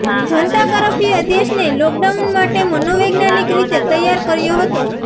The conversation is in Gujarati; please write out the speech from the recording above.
જનતા કર્ફ્યુએ દેશને લોકડાઉન માટે મનોવૈજ્ઞાનિક રીતે તૈયાર કર્યો હતો